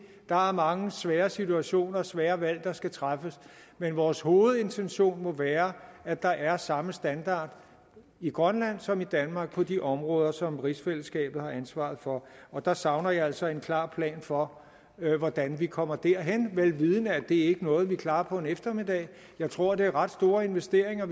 der er mange svære situationer og svære valg der skal træffes men vores hovedintention må være at der er samme standard i grønland som i danmark på de områder som rigsfællesskabet har ansvaret for og der savner jeg altså en klar plan for hvordan vi kommer derhen vel vidende at det ikke er noget vi klarer på en eftermiddag jeg tror det er ret store investeringer